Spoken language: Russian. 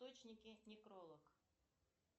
источники некролог